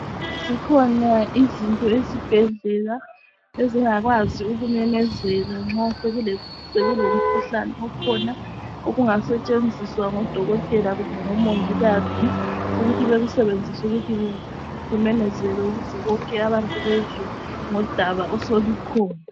Zikhona izinto esibhedlela ezingakwazi ukumemezela nxa sokulomkhuhlane okhona, okungasetshenziswa ngodokotela kumbe ngomongikazi ukuthi bakusebenzise ukuthi kumemezele ukuze bonke abantu bezwe ngodaba osolukhona.